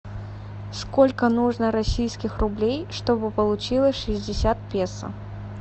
сколько нужно российских рублей чтобы получилось шестьдесят песо